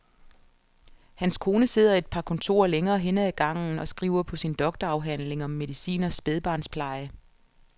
Hans kone sidder et par kontorer længere henne ad gangen og skriver på sin doktorafhandling om medicin og spædbarnspleje.